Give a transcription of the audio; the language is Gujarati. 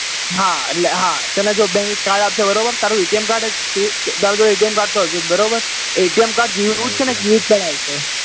હા એટલે હા bank એક card આપશે બરાબર તારું ATM CARD તો હશે જ બરાબર એ ATM CARD જેવું જ છે ને use કરાય છે એમ